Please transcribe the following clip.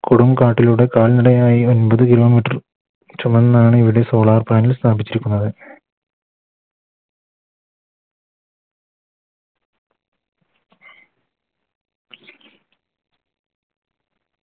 പുറം കാട്ടിലൂടെ കാൽനടയായി അൻപത് Kilometer ചുമന്നാണ് ഇവിടെ Solar panel ൽ സ്ഥാപിച്ച് പോയത്ത്